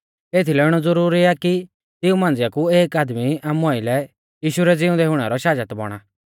एथीलै इणौ ज़ुरुरी आ कि तिऊं मांझिया कु एक आदमी आमु आइलै यीशु रै ज़िउंदै हुणै रौ शाजत बौणा